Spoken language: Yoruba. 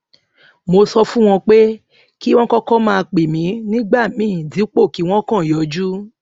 mo sọ fún wọn pé kí wón kókó máa pè mí nígbà míì dípò kí wón kàn yọjú